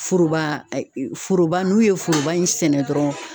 Foroba foroba n'u ye foroba in sɛnɛ dɔrɔn